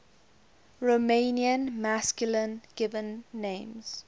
romanian masculine given names